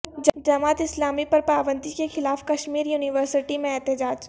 جماعت اسلامی پر پابندی کیخلاف کشمیر یونیورسٹی میں احتجاج